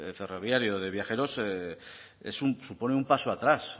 ferroviario de viajeros supone un paso atrás